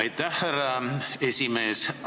Aitäh, härra esimees!